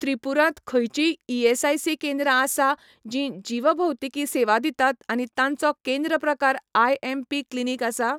त्रिपुरांत खंयचींय ईएसआयसी केंद्रां आसा जीं जीवभौतिकी सेवा दितात आनी तांचो केंद्र प्रकार आयएमपी क्लिनीक आसा?